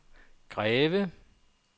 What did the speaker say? Greve